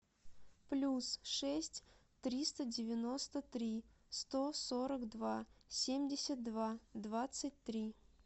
плюс шесть триста девяносто три сто сорок два семьдесят два двадцать три